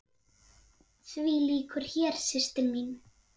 Því lýkur hér, systir mín.